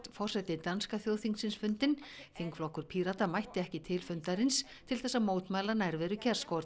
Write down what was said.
forseti danska þjóðþingsins fundinn þingflokkur Pírata mætti ekki til fundarins til þess að mótmæla nærveru